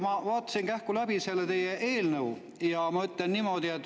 Ma vaatasin kähku läbi selle teie eelnõu ja ma ütlen niimoodi.